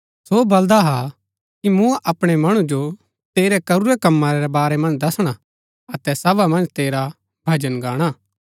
सो बलदा हा कि मूँ अपणै मणु जो तेरै करूरै कमा रै बारै मन्ज दसणा अतै सभा मन्ज तेरा भजन गाणा